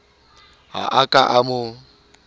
ha a ka a mo